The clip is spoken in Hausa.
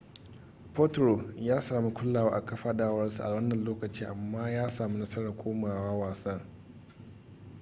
potro ya sami kulawa a kafadarsa a wannan lokacin amma ya sami nasarar komawa wasan